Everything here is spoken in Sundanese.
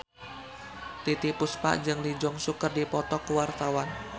Titiek Puspa jeung Lee Jeong Suk keur dipoto ku wartawan